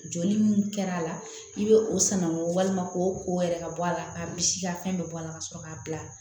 Jɔli min kɛra a la i bɛ o sannagun walima k'o ko yɛrɛ ka bɔ a la k'a misi ka fɛn dɔ bɔ a la ka sɔrɔ k'a bila